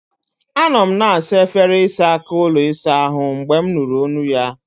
Anọ m na-asa efere ịsa aka ụlọ ịsa ahụ mgbe m nụrụ olu ya.